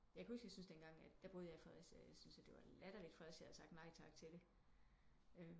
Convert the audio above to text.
Kan kan huske jeg syntes det en gang at der boede jeg i Fredericia der syntes jeg det var latterligt Fredericia havde sagt nej tak til det